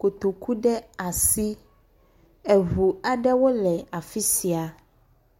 kotoku ɖe asi. Eŋu aɖewo le afisia.